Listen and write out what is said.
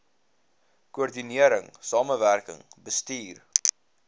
koördinering samewerkende bestuur